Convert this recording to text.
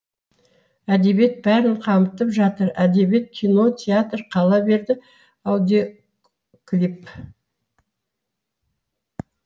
әдебиет бәрін қамтып жатыр әдебиет кино театр қала берді аудиоклип